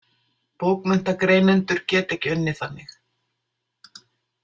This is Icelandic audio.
Bókmenntagreinendur geta ekki unnið þannig.